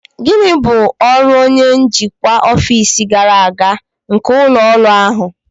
Gịnị bụ ọrụ onye njikwa ọfịs gàrà aga nke ụlọ ọrụ ahụ?